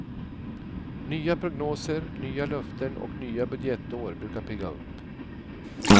Nya prognoser, nya löften och nya budgetår brukar pigga upp.